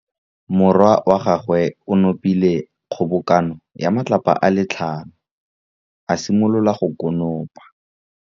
Morwa wa gagwe o nopile kgobokanô ya matlapa a le tlhano, a simolola go konopa.